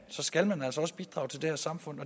så skal man altså også bidrage til det her samfund